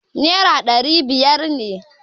Naira ɗari biyar ne.